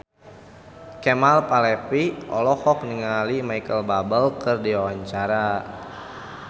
Kemal Palevi olohok ningali Micheal Bubble keur diwawancara